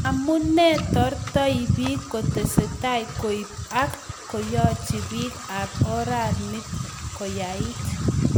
Amunei tortoi piik kotestai koip ak koyachi piik ap oranit koyait